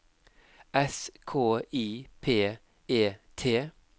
S K I P E T